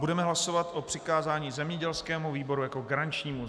Budeme hlasovat o přikázání zemědělskému výboru jako garančnímu.